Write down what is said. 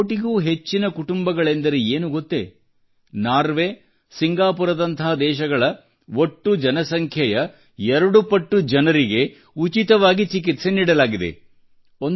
ಒಂದು ಕೋಟಿಗೂ ಹೆಚ್ಚಿನ ಕುಟುಂಬಗಳೆಂದರೆ ಏನು ಗೊತ್ತೇ ನಾರ್ವೆ ಸಿಂಗಾಪುರದಂಥ ದೇಶಗಳ ಒಟ್ಟು ಜನಸಂಖ್ಯೆಯ ಎರಡು ಪಟ್ಟು ಜನರಿಗೆ ಉಚಿತವಾಗಿ ಚಿಕಿತ್ಸೆ ನೀಡಲಾಗಿದೆ